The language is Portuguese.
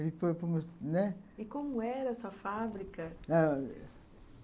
E como era essa fábrica?